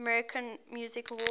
american music awards